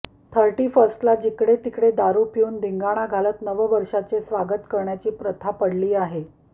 थर्टीफस्र्टला जिकडे तिकडे दारू पिऊन िधगाणा घालत नववर्षाचे स्वागत करण्याची प्रथा पडली आहे